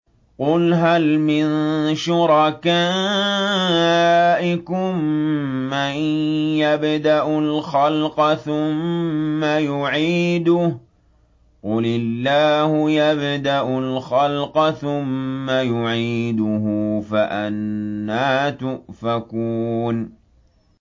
قُلْ هَلْ مِن شُرَكَائِكُم مَّن يَبْدَأُ الْخَلْقَ ثُمَّ يُعِيدُهُ ۚ قُلِ اللَّهُ يَبْدَأُ الْخَلْقَ ثُمَّ يُعِيدُهُ ۖ فَأَنَّىٰ تُؤْفَكُونَ